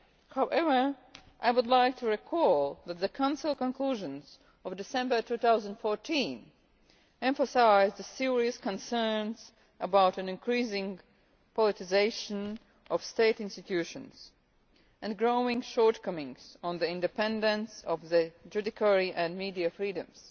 However, I would point out that the Council Conclusions of December 2014 emphasised serious concerns about an increasing politicisation of state institutions and growing shortcomings in relation to the independence of the judiciary and to media freedoms.